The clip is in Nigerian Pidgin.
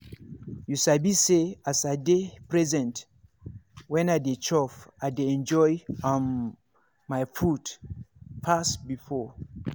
you sabi say as i dey present when i dey chop i dey enjoy um my food pass before.